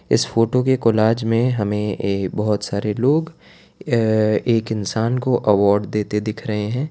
इस फोटो के कोलाज में हमें बहुत सारे लोग एक अअ इंसान को अवार्ड देते दिख रहे हैं।